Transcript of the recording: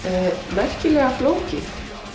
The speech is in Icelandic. merkilega flókið